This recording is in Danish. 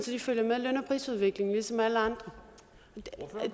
de følger med løn og prisudviklingen ligesom alle andre